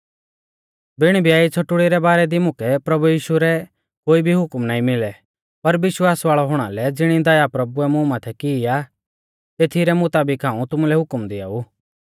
बिण ब्याई छ़ोटुढ़ी रै बारै दी मुकै प्रभु यीशु रै कोई भी हुकम नाईं मिली पर विश्वास वाल़ौ हुणा लै ज़िणी दया प्रभुऐ मुं माथै की आ तेथी रै मुताबिक हाऊं तुमुलै हुकम दिआऊ